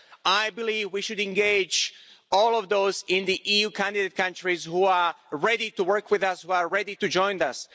I believe we should engage all of those in the EU candidate countries who are ready to work with us, who are ready to join us.